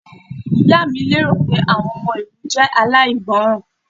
Ìyá mi lérò pé àwọn ọmọ ìlú jẹ́ aláìgbọràn.